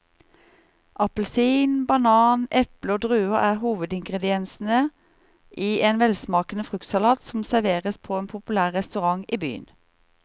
Appelsin, banan, eple og druer er hovedingredienser i en velsmakende fruktsalat som serveres på en populær restaurant i byen.